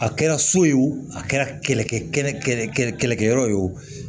A kɛra so ye wo a kɛra kɛlɛkɛyɔrɔ ye wo